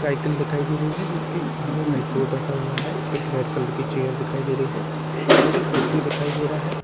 Cycle दिखाई दे रही हैं जिसके आगे आइपॉड रखा हुआ है एक रेड कलर की चेयर दिखाई दे रही है मुझे एक व्यक्ति दिखाई दे रहा है।